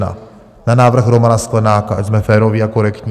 Na návrh Romana Sklenáka, ať jsme féroví a korektní.